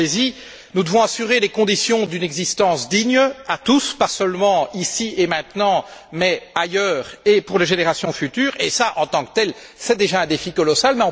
Pensez y, nous devons assurer les conditions d'une existence digne à tous, pas seulement ici et maintenant, mais aussi ailleurs et pour les générations futures, et cela en tant que tel constitue déjà un défi colossal.